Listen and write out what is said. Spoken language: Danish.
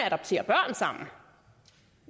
adoptere børn sammen